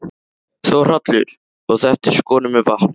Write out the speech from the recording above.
Þórhallur: Og þetta er skorið með vatni?